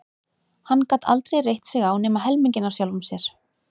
Hann gat aldrei reitt sig á nema helminginn af sjálfum sér.